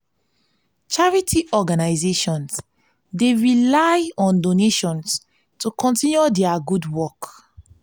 charity organizations dey rely on donations to continue dia gud wok.